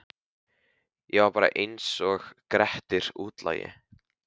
Ég var bara einsog Grettir útlagi.